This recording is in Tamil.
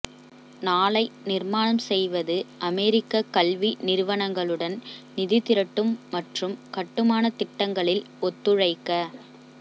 நாளை நிர்மாணம் செய்வது அமெரிக்க கல்வி நிறுவனங்களுடன் நிதி திரட்டும் மற்றும் கட்டுமான திட்டங்களில் ஒத்துழைக்க